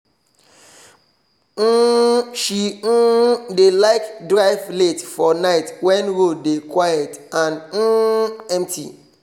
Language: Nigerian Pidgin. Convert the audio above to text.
um she um dey like drive late for night wen road dey quiet and um empty